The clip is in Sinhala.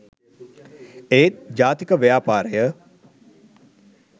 ඒත් ජාතික ව්‍යාපාරය